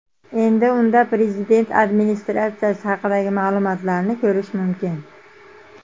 Endi unda Prezident Administratsiyasi haqidagi ma’lumotlarni ko‘rish mumkin.